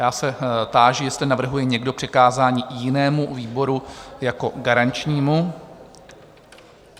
Já se táži, jestli navrhuje někdo přikázání jinému výboru jako garančnímu?